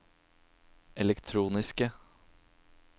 elektroniske